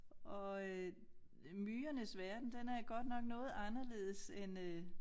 Og øh myrernes verden den er godt nok noget anderledes end øh